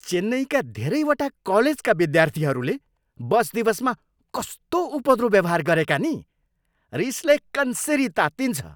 चेन्नईका धेरैवटा कलेजका विद्यार्थीहरूले बस दिवसमा कस्तो उपद्रो व्यवहार गरेका नि? रिसले कन्सिरी तात्तिन्छ।